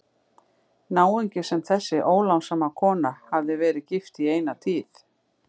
Náungi sem þessi ólánssama kona hafði verið gift í eina tíð.